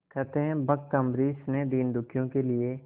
कहते हैं भक्त अम्बरीश ने दीनदुखियों के लिए